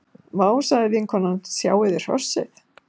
Vá, sagði vinkonan,- sjáiði hrossið.